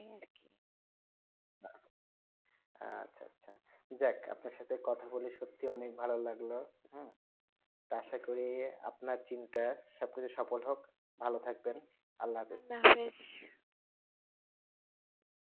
যাক আপনার সাথে কথা বলে সত্যি অনেক ভালো লাগলো তা আসা করি আপনার চিন্তা সব কিছু সফল হোক ভালো থাকবেন